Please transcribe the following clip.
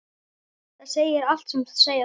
Það segir allt sem segja þarf.